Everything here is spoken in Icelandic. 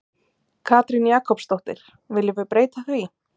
Katrín Jakobsdóttir: Viljum við breyta því?